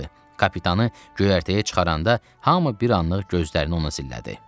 Kapitanı göyərtəyə çıxaranda hamı bir anlıq gözlərini ona zillədi.